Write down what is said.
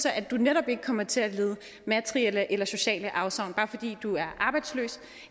at du netop ikke kommer til lide materielle eller sociale afsavn bare fordi du er arbejdsløs